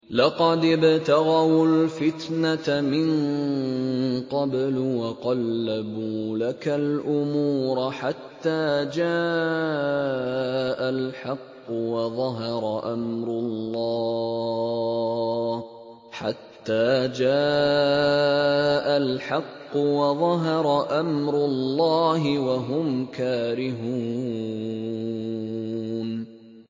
لَقَدِ ابْتَغَوُا الْفِتْنَةَ مِن قَبْلُ وَقَلَّبُوا لَكَ الْأُمُورَ حَتَّىٰ جَاءَ الْحَقُّ وَظَهَرَ أَمْرُ اللَّهِ وَهُمْ كَارِهُونَ